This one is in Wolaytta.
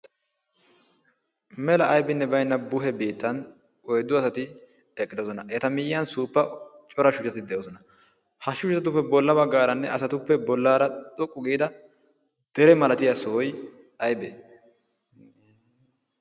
mela aibinne bainna buhe biittan oiddu asati eqqidosona. eta miyyiyan suuppa cora shuhaati de7osona. ha shuhatatuppe bollabagaaranne asatuppe bollaara xoqqu giida dere malatiya sohoi aibee?